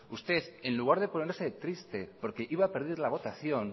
usted en lugar de ponerse triste porque iba a perder la votación